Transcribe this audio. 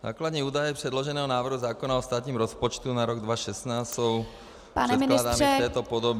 Základní údaje předloženého návrhu zákona o státním rozpočtu na rok 2016 jsou předkládány v této podobě -